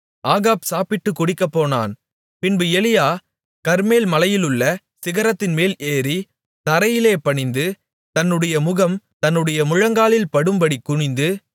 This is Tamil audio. ஆகாப் சாப்பிட்டு குடிக்கப்போனான் பின்பு எலியா கர்மேல் மலையிலுள்ள சிகரத்தின்மேல் ஏறி தரையிலே பணிந்து தன்னுடைய முகம் தன்னுடைய முழங்காலில் படும்படிக்குனிந்து